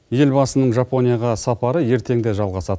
елбасының жапонияға сапары ертең де жалғасады